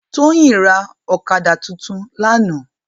Toyin rá òkàdá tútún làná